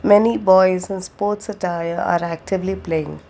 many boys and sports attire there are actively playing.